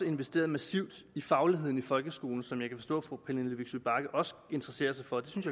investeret massivt i fagligheden i folkeskolen som jeg kan forstå at fru pernille vigsø bagge også interesserer sig for det synes